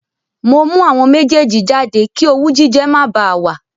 Mo mú àwọn méjèèjì jáde kí owú jíjẹ má bá a wà